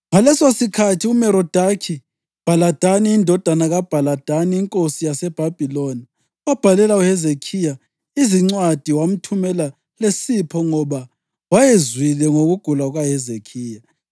Ngalesosikhathi uMerodakhi-Bhaladani indodana kaBhaladani inkosi yaseBhabhiloni wabhalela uHezekhiya izincwadi wamthumela lesipho ngoba wayezwile ngokugula kukaHezekhiya.